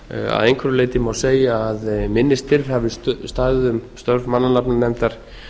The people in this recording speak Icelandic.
að einhverju leyti má segja að minni styr hafi staðið um störf mannanafnanefndar